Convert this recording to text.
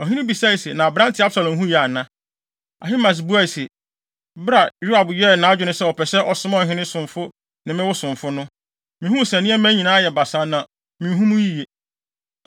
Ɔhene bisae se, “Na aberante, Absalom ho ye ana?” Ahimaas buae se, “Bere a Yoab yɛɛ nʼadwene sɛ ɔpɛ sɛ ɔsoma ɔhene somfo ne me wo somfo no, mihuu sɛ nneɛma ayɛ basaa a na minhu mu yiye.”